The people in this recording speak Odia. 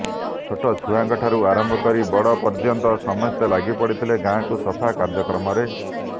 ଛୋଟ ଛୁଆଠାରୁ ଆରମ୍ଭ କରି ବଡ଼ ପର୍ଯ୍ୟନ୍ତ ସମସ୍ତେ ଲାଗିପଡ଼ିଥିଲେ ଗାଁକୁ ସଫା କାର୍ଯ୍ୟକ୍ରମରେ